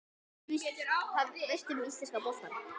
Hvað veistu um íslenska boltann?